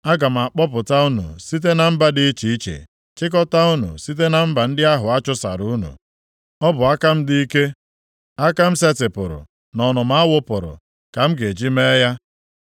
Aga m akpọpụta unu site na mba dị iche iche, chịkọtaa unu site na mba ndị ahụ a chụsasịrị unu. Ọ bụ aka m dị ike, aka m setịpụrụ na ọnụma a wụpụrụ ka m ga-eji mee ya.